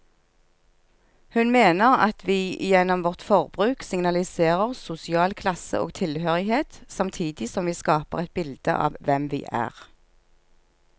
Hun mener at vi gjennom vårt forbruk signaliserer sosial klasse og tilhørighet, samtidig som vi skaper et bilde av hvem vi er.